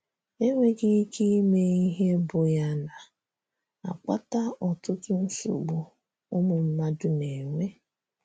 Enweghị ike ime ihe bụ ya na - akpata ọtụtụ nsogbu ụmụ mmadụ na - enwe?